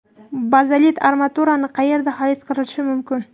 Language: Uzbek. Bazalt armaturani qayerda xarid qilish mumkin?